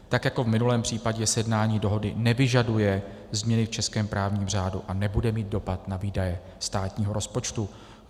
Tak jako v minulém případě sjednání dohody nevyžaduje změny v českém právním řádu a nebude mít dopad na výdaje státního rozpočtu.